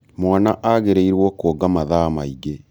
mwana agĩrĩirwo kuonga mathaa maingĩ